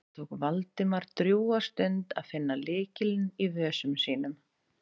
Það tók Valdimar drjúga stund að finna lykilinn í vösum sínum.